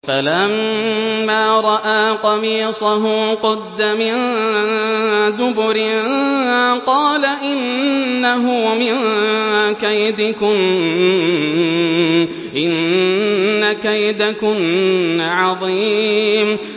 فَلَمَّا رَأَىٰ قَمِيصَهُ قُدَّ مِن دُبُرٍ قَالَ إِنَّهُ مِن كَيْدِكُنَّ ۖ إِنَّ كَيْدَكُنَّ عَظِيمٌ